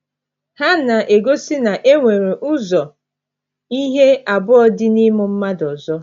Ha na - egosi na e nwere ụzọ ihe abụọ dị n’ịmụ mmadụ ọzọ.